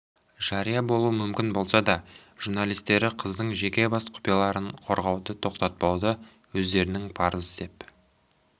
жария болуы мүмкін болса да журналистері қыздың жеке бас құпияларын қорғауды тоқтатпауды өздерінің парызы деп